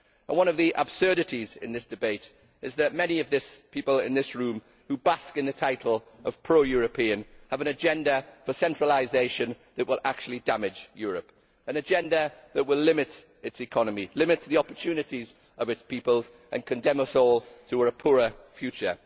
One of the absurdities in this debate is that many of the people in this room, who bask in the title of pro European, have an agenda for centralisation that will actually damage Europe an agenda that will limit its economy, limit the opportunities of its people and condemn us all to a poorer future.